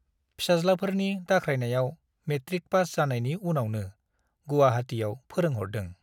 फिसाज्लाफोरनि दाख्रायनायाव matric pass जानायनि उनावनो गुवाहाटीयाव फोरोंहरदों ।